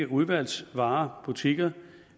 udvalgsvarebutikkerne